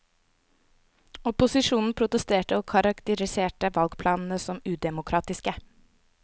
Opposisjonen protesterte og karakteriserte valgplanene som udemokratiske.